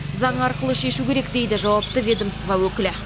заң арқылы шешу керек дейді жауапты ведомство өкілі